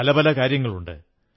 പല പല കാര്യങ്ങളുണ്ട്